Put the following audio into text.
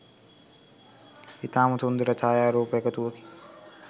ඉතාම සුන්දර ඡායාරූප එකතුවකි.